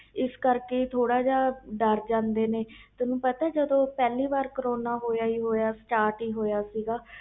ਇਸ ਕਰਕੇ ਥੋੜ੍ਹਾ ਜਾ ਡਰ ਜਾਂਦੇ ਨੇ ਤੈਨੂੰ ਪਤਾ ਪਹਲੇ ਵਾਰ ਕਰੋਨਾ start ਹੀ ਹੋਇਆ ਸੀ